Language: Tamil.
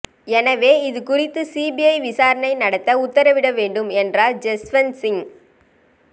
எனவே இதுகுறித்து சிபிஐ விசாரணை நடத்த உத்தரவிட வேண்டும் என்றார் ஜஸ்வந்த் சிங்